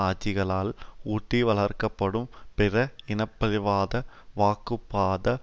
ஆட்சிகளால் ஊட்டி வளர்க்க படும் பிற இனபழிப்புவாத வாக்குப்பாத